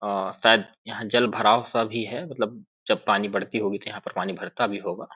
ओ शायद यहाँ जल भराव सा भी है मतलब जब पानी बढ़ती होगी यहाँ पर पानी भरता भी होगा--